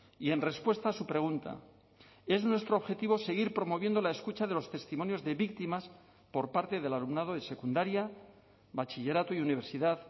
y en respuesta a su pregunta es nuestro objetivo seguir promoviendo la escucha de los testimonios de víctimas por parte del alumnado de secundaria bachillerato y universidad